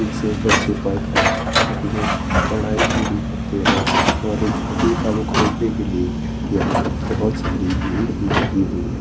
उनसे बचे पड़ कर अपने पढाई पूरी करते है और इन को खरीदने के लिए यहा बहोत सारी भीड़ भी लगी हुई है।